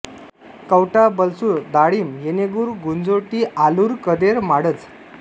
Kavtha Balsur Dalimb Yenegur Gunjoti Alur Kader Madaj